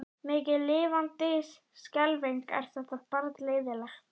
Mikið lifandis skelfing er þetta barn leiðinlegt.